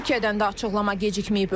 Türkiyədən də açıqlama gecikməyib.